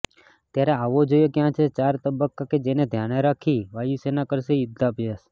ત્યારે આવો જોઇએ ક્યા છે ચાર તબક્કા કે જેને ધ્યાને રાખી વાયુસેના કરશે યુદ્ધાભ્યાસ